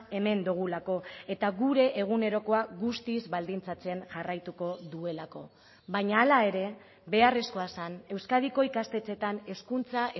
hemen dugulako eta gure egunerokoa guztiz baldintzatzen jarraituko duelako baina hala ere beharrezkoa zen euskadiko ikastetxeetan hezkuntza